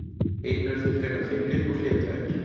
Einnig eru þeir frekar feimnir og hlédrægir.